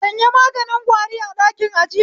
Sanya maganin kwari a ɗakin ajiya